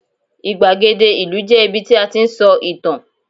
igbagede ìlú je ibi tí a ti n sọ ìtàn